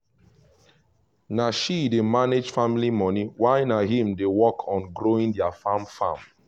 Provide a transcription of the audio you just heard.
na she dey manage family money while na him dey work on growing their farm farm